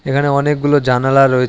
এখানে অনেকগুলো জানালা রয়েচ--